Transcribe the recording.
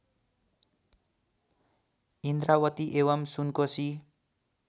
इन्द्रावती एवं सुनकोशी